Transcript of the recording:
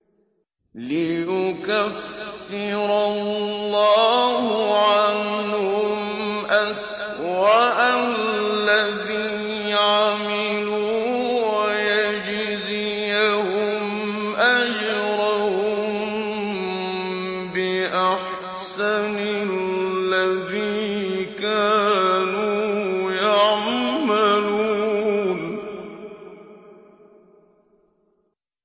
لِيُكَفِّرَ اللَّهُ عَنْهُمْ أَسْوَأَ الَّذِي عَمِلُوا وَيَجْزِيَهُمْ أَجْرَهُم بِأَحْسَنِ الَّذِي كَانُوا يَعْمَلُونَ